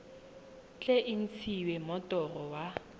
tle e ntshiwe moroto wa